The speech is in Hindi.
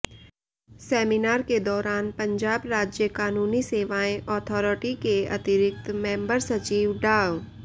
सैमीनार के दौरान पंजाब राज्य कानूनी सेवाएं अथॉरिटी के अतिरिक्त मैंबर सचिव डा